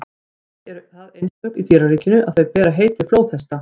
þau eru það einstök í dýraríkinu að þau bera heiti flóðhesta